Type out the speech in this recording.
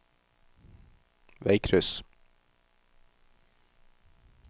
veikryss